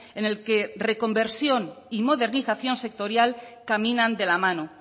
en el que reconversión y modernización sectorial caminan de la mano